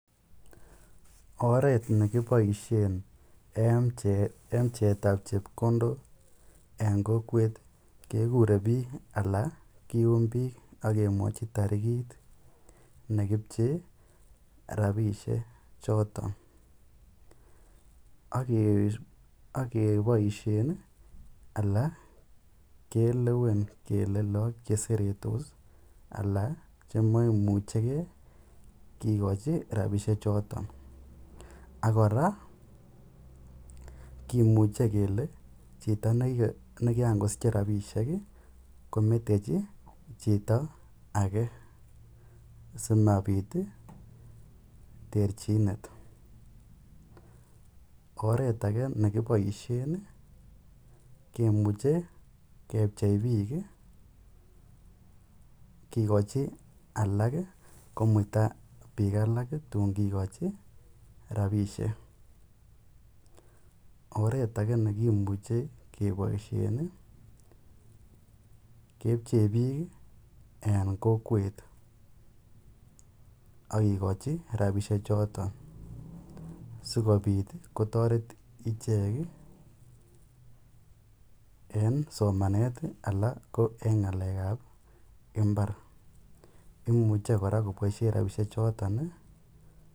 Oreet nekiboishen en pcheetab chepkondok en kokwet kekure biik anan kium biik ak kemwochi torikiit nekipchee rabishe choton ak keboishen alaa kelewen kelee look cheseretos alaa chemoimucheke kikochi rabishe choton ak kora kimuche kelee chito nekiran kosiche rabishek kometechi chito akee asimabit terchinet, oreet akee nekiboishen kimuche kepchei biik kikochi alak komuita alak tun kikochi rabishek, oreet akee nekimuche keboishen kepchee biik en kokwet akikochi rabishe choton sikobit kotoret ichek en somanet anan ko en ngalekab mbar, imuche kora koboishen rabishechoton.